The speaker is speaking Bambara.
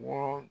Wɔɔrɔn